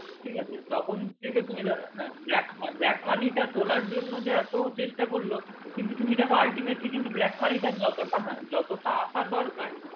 ঠিক আছে তখন থেকে তুমি হ্যাঁ black money টা তোলার জন্য যে এতো চেষ্টা করলো কিন্তু তুমি দেখো ultimately কিন্তু black money টা যতটা হ্যাঁ যতটা আসা দরকার